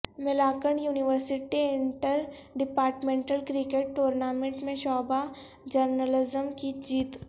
Malakand university interdepartmental cricket tournament میں شعبہ journalism کی جیت